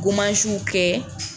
Gomasiw kɛ.